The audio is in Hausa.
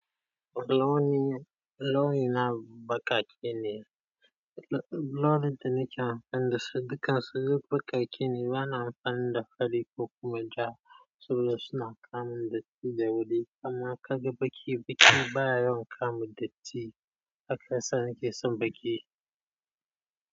Launi, launi na baƙake ne. Launin da nake amfani da su duka su duk baƙake ne. Bana amfani da fari ko kuma ja saboda suna kamun datti da wuri. Amma kaga baƙi, baƙi baya yawan kamun datti haka sanda kisan baƙi.